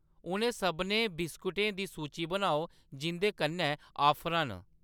उ'नें सभनें बिस्कुटें दी सूची बनाओ जिंʼदे कन्नै ऑफरां न।